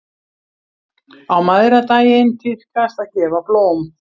Á mæðradaginn tíðkast að gefa blóm.